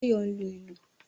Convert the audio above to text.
Báyọ̀ ń lu ìlù